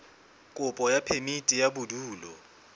kopo ya phemiti ya bodulo